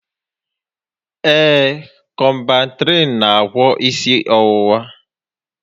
Ee, Kọmbantrịịn n'agwọ isi ọwụwa